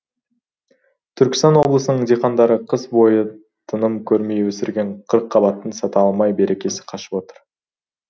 түркістан облысының диқандары қыс бойы тыным көрмей өсірген қырыққабатын сата алмай берекесі қашып отыр